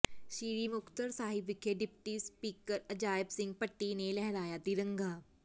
ਸ੍ਰੀ ਮੁਕਤਸਰ ਸਾਹਿਬ ਵਿਖੇ deputy speaker Ajaib Singh Bhatti ਨੇ ਲਹਿਰਾਇਆ ਤਿਰੰਗਾ